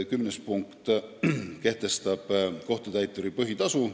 Kümnes punkt kehtestab kohtutäituri põhitasu.